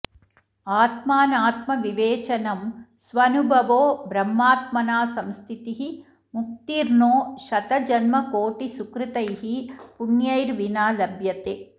आत्मानात्मविवेचनं स्वनुभवो ब्रह्मात्मना संस्थितिः मुक्तिर्नो शतजन्मकोटिसुकृतैः पुण्यैर्विना लभ्यते